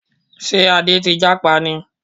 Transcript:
Ṣé Adé ti jápa ni?